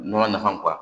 Nɔnɔ nafa